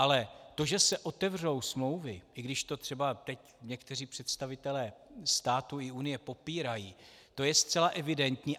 Ale to, že se otevřou smlouvy, i když to třeba teď někteří představitelé státu i Unie popírají, to je zcela evidentní.